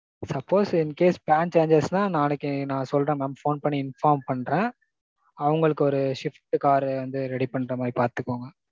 suppose, incase plan change ஆயிச்சுனா நாளைக்கு நான் சொல்றேன் mam. Phone பண்ணி inform பன்றேன். அவங்களுக்கு ஒரு swift car வந்து ready பண்ற மாதிரி பாத்துக்கோங்க.